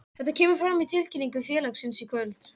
Þetta kemur fram í tilkynningu félagsins í kvöld.